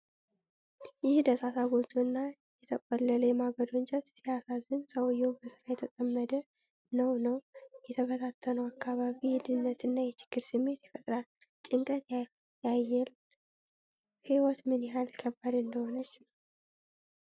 ይህ ደሳሳ ጎጆ እና የተቆለለ የማገዶ እንጨት ሲያሳዝን! ሰውዬው በስራ የተጠመደ ነውነው። የተበታተነው አካባቢ የድህነት እና የችግር ስሜት ይፈጥራል፤ ጭንቀት ያየል! ሕይወት ምን ያህል ከባድ እንደሆነች ነው!።